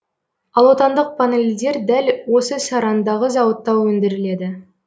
ал отандық панельдер дәл осы сарандағы зауытта өндіріледі